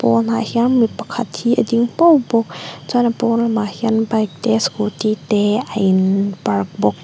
pawnah hian mi pakhat hi a ding puau bawk chuan a pawn lamah hian bike te scooty te a in park bawk.